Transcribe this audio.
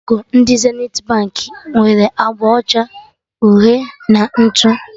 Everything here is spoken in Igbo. Logo ndị Zenithi Baankị nwere agba ọcha, uhie na ntụ